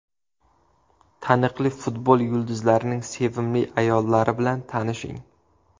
Taniqli futbol yulduzlarining sevimli ayollari bilan tanishing .